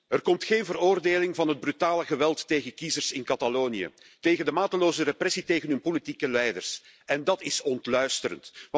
Er komt geen veroordeling van het brutale geweld tegen kiezers in Catalonië, noch van de mateloze repressie van hun politieke leiders. Dat is ontluisterend.